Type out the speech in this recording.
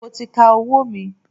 Mo ti ka owó mi.